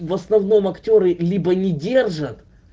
в основном актёры либо не держат